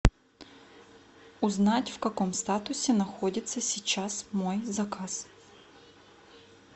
узнать в каком статусе находится сейчас мой заказ